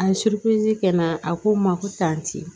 A ye kɛ na a ko n ma ko tanti